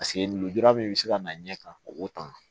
Paseke lujura min bɛ se ka na ɲɛ ka o tan